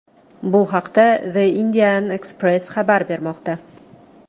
Bu haqda The Indian Express xabar bermoqda .